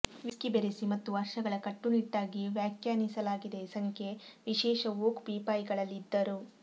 whisky ಬೆರೆಸಿ ಮತ್ತು ವರ್ಷಗಳ ಕಟ್ಟುನಿಟ್ಟಾಗಿ ವ್ಯಾಖ್ಯಾನಿಸಲಾಗಿದೆ ಸಂಖ್ಯೆ ವಿಶೇಷ ಓಕ್ ಪೀಪಾಯಿಗಳಲ್ಲಿ ಇದ್ದರು